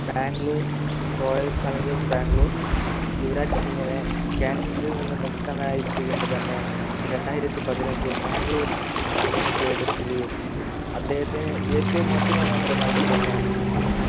Bangalore Royal challengers Bangalore Yuvraj സിംഗിനെ Cancer ൽ നിന്നും മുക്തനായി എത്തി കൊണ്ടുതന്നെ രണ്ടായിരത്തി പതിനഞ്ചിൽ ബാംഗ്ലൂർ അദ്ദേഹത്തെ എടുക്കുകയും അദ്ദേഹത്തെ ഏറ്റവും അതിമനോഹരമായി തന്നെ